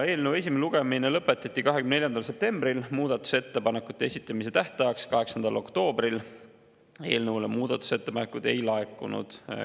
Eelnõu esimene lugemine lõpetati 24. septembril, muudatusettepanekute esitamise tähtajaks, 8. oktoobriks eelnõu kohta muudatusettepanekuid ei laekunud.